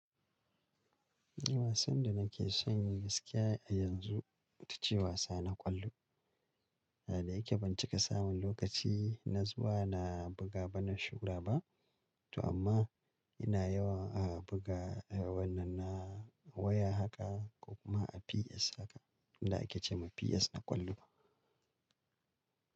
Wasan da nake san yin gaskiya a yanzu ita ce wasa na ƙwallo. Da yake ban cika samun lokaci, na zuwa na buga ba na shura ba. To amma ina yawan a buga wannan na waya haka ko kuma a PS haka. Inda ake ce ma PS na ƙwallo.